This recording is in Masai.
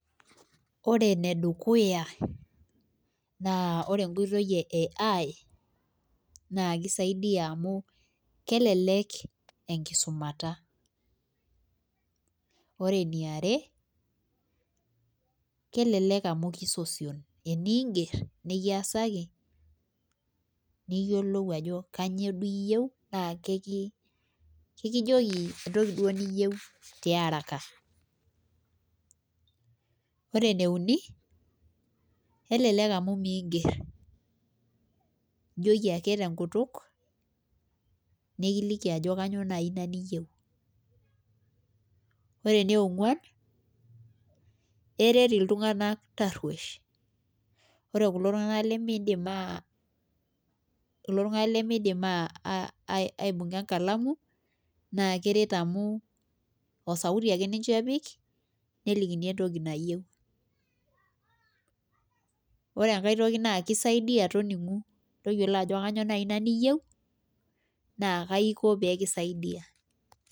Ore enedukuya naa ore enkoitoi e AI naa kisaidia amu kelelek enkisumata ore eniare kelelek amu kisiosion eniigerr nikiasaki niyiolou ajo kainyio duo iyieu naa kakijoki entoki duo niyieu tiaraka ore ene uni kelelek amu mingerr ijoki ake tenkutuk nikiliki ajoki kainyio naai iyieu ore eniongwan eret iltunganak tarruosh ore kulo tung'anak lemiidim aibung'a enkalamu naa keret amu osauti ake ninche epik nelikini entoki nayieu ore enkae toki naa kisaidia tayiolo ajo kainyio iyieu naa kaiko pee kisaidia.